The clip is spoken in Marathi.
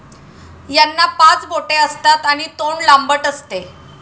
यांना पाच बोटे असतात आणि तोंड लांबट असते.